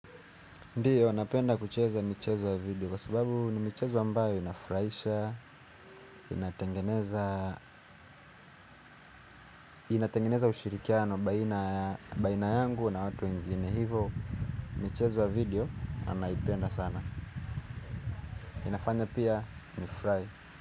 Ndiyo napenda kucheza michezo ya video. Kwa sababu ni michezo ambayo inafurahisha. Inatengeneza ushirikiano baina yangu na watu wengine. Hivo michezo ya video anaipenda sana. Inafanya pia nifurahi.